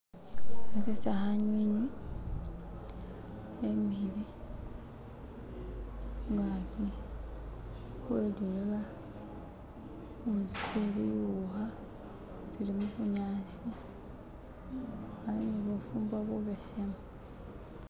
bakhwokesa khanywinywi khemikhile khungaki khweliloba khunzu tsebiukha tsili mubunyasi khali ni bufumbo bubesemu